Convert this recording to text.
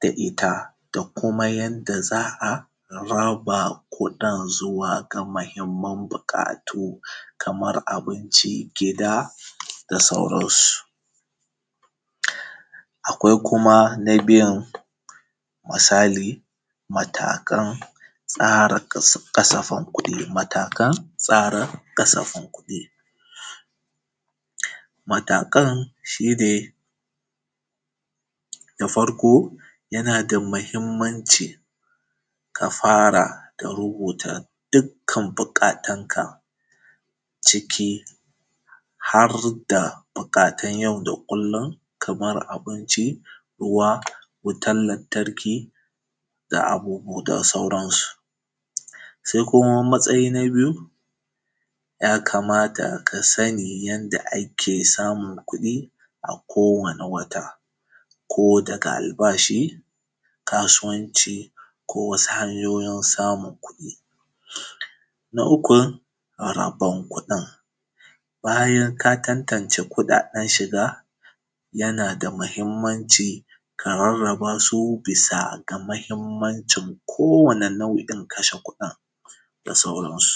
da ita. Da kuma yanda za a raba kuɗin zuwa ga mahimman buƙatu, kamar abinci, gida, da sauransu. Akwai kuma na biyan, misali, matakan tsara kasa; ƙasafin kuɗi, matakan tsara ƙasafin kuɗi. Matakan, shi ne da farko, yana da mahimmanci ka fara da rubuta dukkan buƙatanka ciki har da buƙatan yau da kullin, kamar abinci, ruwa wutan lantarki, da abubuwa da sauransu. Se kuma matsayi na biyu, ya kamata ka sani yanda ake samun kuɗi a kowane wata. Ko daga albashi, kasuwanci ko wasu hanyoyin samun kuɗi. Na uku, rabon kuɗin, bayan ka tantance kuɗaɗen shiga, yana da mahimmanci, ka rarraba su bisa ga mahimmancin kowane nau’in kashe kuɗin, da sauransu.